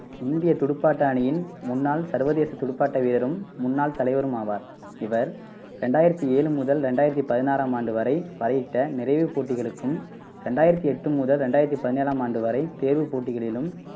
இந்தியத் துடுப்பாட்ட அணியின் முன்னாள் சர்வதேச துடுப்பாட்ட வீரரும் முன்னாள் தலைவரும் ஆவார். இவர் ரெண்டாயிரத்தி ஏழு முதல் ரெண்டாயிரத்தி பதினாறாம் ஆண்டு வரை வரையிட்ட நிறைவுப் போட்டிகளுக்கும் ரெண்டாயிரத்தி எட்டு முதல் ரெண்டாயிரத்தி பதினேழாம் ஆண்டு வரை தேர்வுப் போட்டிகளிலும்